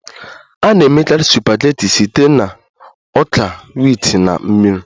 A na-emekarị supageti site na ọka wit na mmiri